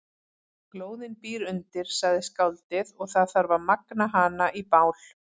Glóðin býr undir, sagði skáldið, og það þarf að magna hana í bál.